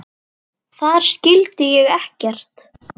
Þeirra sonur er Felix Mark.